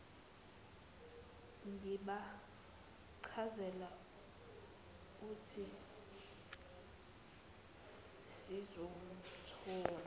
ngibachazela uthe sizomthola